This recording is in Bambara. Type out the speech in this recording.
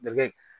Dɛgɛ